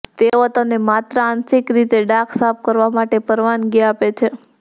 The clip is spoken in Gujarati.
તેઓ તમને માત્ર આંશિક રીતે ડાઘ સાફ કરવા માટે પરવાનગી આપે છે